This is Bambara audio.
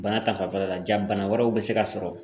Bana ta fanfɛla ja bana wɛrɛw be se ka sɔrɔ